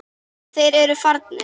En þeir eru farnir.